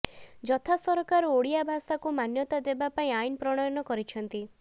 ଯଥା ସରକାର ଓଡିଆ ଭାଷାକୁ ମାନ୍ୟତା ଦେବା ପାଇଁ ଆଇନ ପ୍ରଣୟନ କରିଛନ୍ତି